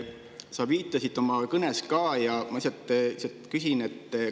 Sa viitasid sellele oma kõnes ka ja lihtsalt küsin selle kohta.